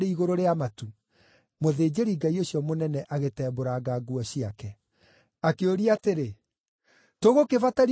Mũthĩnjĩri-Ngai ũcio mũnene agĩtembũranga nguo ciake. Akĩũria atĩrĩ, “Tũgũkĩbatario nĩ aira angĩ a kĩ?